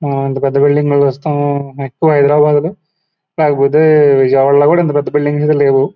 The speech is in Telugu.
మనమిలాంటి పెద్ద బిల్డింగ్ లు చూస్తాము ఎక్కువ హైదరాబాద్ లో కాకపోతే విజయవాడ లో కూడా ఇంత పెద్ద బిల్డింగ్స్ లేవు.